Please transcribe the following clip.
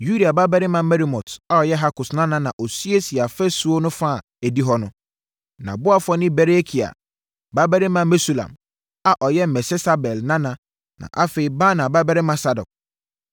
Uria babarima Meremot a ɔyɛ Hakkos nana na ɔsiesiee ɔfasuo no fa a ɛdi hɔ no. Nʼaboafoɔ ne Berekia babarima Mesulam a ɔyɛ Mesesabel nana na afei Baana babarima Sadok.